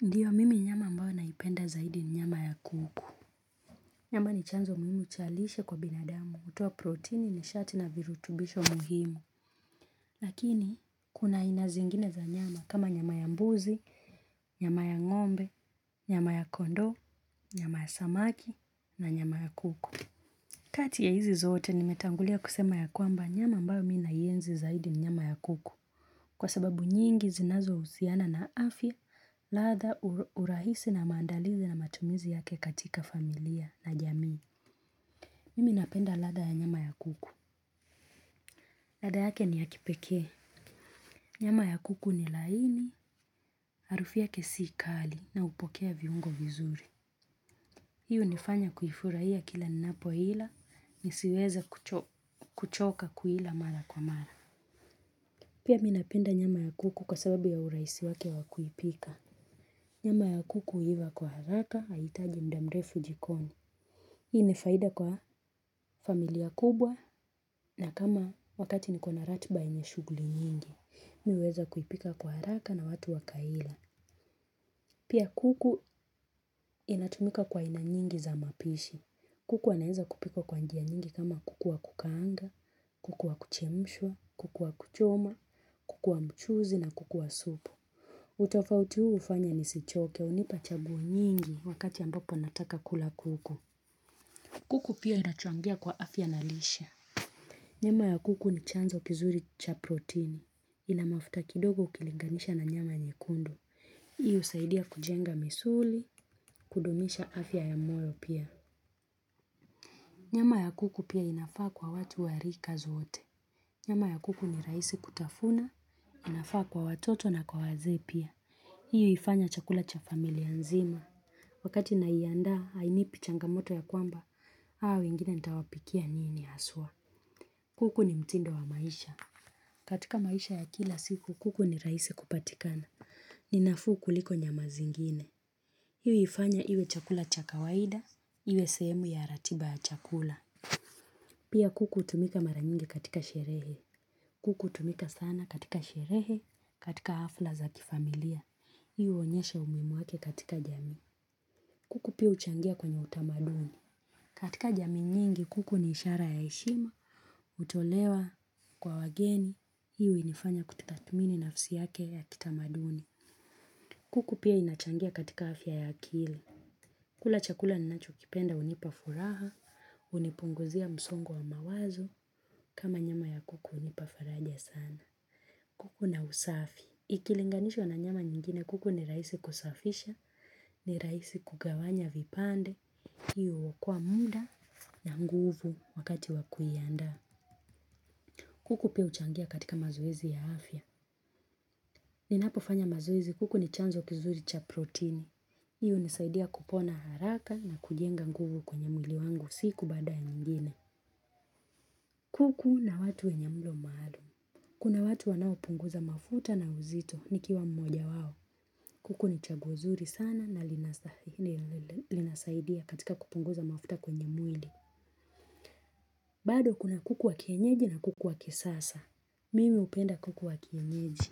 Ndiyo mimi nyama ambao naipenda zaidi ni nyama ya kuku. Nyama ni chanzo muhimu cha lishe kwa binadamu, utowa proteini ni shati na virutubisho mhimu. Lakini, kuna aina zingine za nyama kama nyama ya mbuzi, nyama ya ngombe, nyama ya kondo, nyama ya samaki, na nyama ya kuku. Kati ya hizi zote nimetangulia kusema ya kwamba nyama ambao mi nayenzi zaidi ni nyama ya kuku. Kwa sababu nyingi zinazouziana na afya, lada urahisi na mandalizi na matumizi yake katika familia na jamii. Mimi napenda lada ya nyama ya kuku. Lada yake ni ya kipeke. Nyama ya kuku ni laini, harufi yake sikali na upokea viungo vizuri. Hi unifanya kuifuraiya kila ninapo ila, nisiweze kuchoka kuila mara kwa mara. Pia mi napenda nyama ya kuku kwa sababu ya urahisi wake wakuipika. Nyama ya kuku huiva kwa haraka, haitaji mdamrefu jikoni. Hii ni faida kwa familia kubwa na kama wakati nikona ratiba enye shuguli nyingi. Mi uweza kuipika kwa haraka na watu wakaila. Pia kuku inatumika kwa aina nyingi za mapishi. Kuku aneza kupikwa kwa njia nyingi kama kuku wa kukaanga, kuku wa kuchemshua, kuku wa kuchoma, kuku wa mchuzi na kuku wa supu. Utofauti huu ufanya nisichoke unipa chaguo nyingi wakati ambapo nataka kula kuku. Kuku pia inachangia kwa afya na lisha. Nyama ya kuku ni chanzo kizuri cha proteini. Ina mafuta kidogo ukilinganisha na nyama nyekundu. Hii usaidia kujenga misuli, kudumisha afya ya moyo pia. Nyama ya kuku pia inafaa kwa watu warika zoote. Nyama ya kuku ni raisi kutafuna, inafaa kwa watoto na kwa waze pia. Hii ifanya chakula cha familia nzima. Wakati naianda hainipi changamoto ya kwamba haa wengine nitawapikia nini asua. Kuku ni mtindo wa maisha. Katika maisha ya kila siku kuku ni raisi kupatikana. Ninafu kuliko nyama zingine. Hii uifanya hiwe chakula cha kawaida hiwe sehemu ya ratiba ya chakula. Pia kuku utumika mara nyingi katika sherehe. Kuku utumika sana katika sherehe katika hafla za kifamilia hii uonyesha umuimu wake katika jami. Kuku pia uchangia kwenye utamaduni. Katika jami nyingi kuku ni ishara ya eshima, utolewa kwa wageni, inafanya kutatumini nafsi yake ya kitamaduni. Kuku pia inachangia katika afya ya akili. Kula chakula ninacho kipenda unipa furaha, unipunguzia msongo wa mawazo, kama nyama ya kuku unipafaraja sana. Kuku na usafi. Ikilinganisho na nyama nyingine kuku ni raisi kusafisha, ni raisi kugawanya vipande. Hiyo huwokoa muda na nguvu wakati wakuyanda. Kuku pia uchangia katika mazoezi ya afya. Ninapo fanya mazoezi kuku ni chanzo kizuri cha protini. Hiyo unisaidia kupona haraka na kujenga nguvu kwenye mwili wangu siku bada ya nyingine. Kuku na watu wenye mlo maalu kuna watu wanao punguza mafuta na uzito nikiwa mmoja wawo. Kuku ni chaguo zuri sana na linasaidia katika kupunguza mafuta kwenye mwili. Bado kuna kuku wa kienyeji na kuku wa kisasa. Mimi upenda kuku wa kienyeji.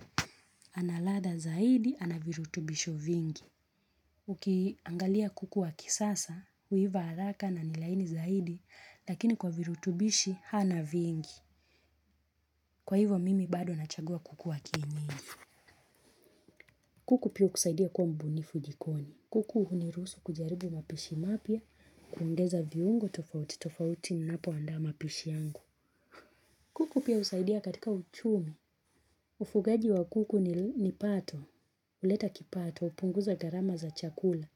Analatha zaidi anavirutubisho vingi. Ukiangalia kuku wa kisasa, huiva halaka na nilaini zaidi, lakini kwa virutubishi hana vingi. Kwa hivo mimi bado nachagua kuku wa kienyeji. Kuku pia ukusaidia kuwa mbunifu jikoni. Kuku uhunirusu kujaribu mapishi mapia, kuongeza viungo tofauti tofauti napo anda mapishi yangu. Kuku pia usaidia katika uchumi. Ufugaji wa kuku ni pato, uleta kipato, upunguza garama za chakula.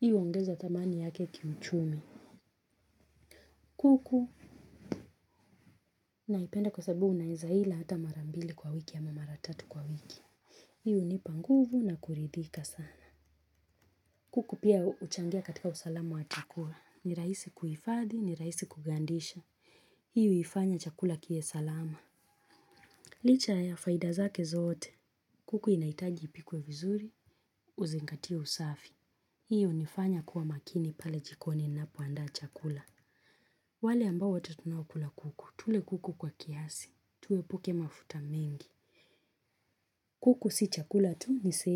Hi uongeza thamani yake kiuchumi. Kuku naipenda kwa sabu unaizahila hata marambili kwa wiki ama maratatu kwa wiki. Hii unipanguvu na kuridhika sana. Kuku pia uchangia katika usalama wa chakula. Ni raisi kuifadhi, ni raisi kugandisha. Hiyo uifanya chakula kiwe salama. Licha ya faida zake zote. Kuku inaitaji ipikuwe vizuri. Uzinkatie usafi. Hiyo unifanya kuwa makini pale jikoni ninapoanda chakula. Wale ambao wote tunawo kula kuku. Tule kuku kwa kiasi. Tuepuke mafuta mingi. Kuku si chakula tu ni sehemu.